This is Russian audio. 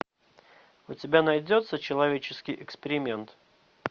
у тебя найдется человеческий эксперимент